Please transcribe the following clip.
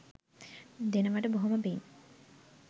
දෙනවට බොහොම පින්